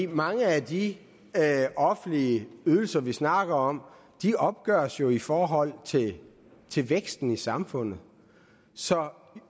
mange af de offentlige ydelser vi snakker om opgøres jo i forhold til til væksten i samfundet så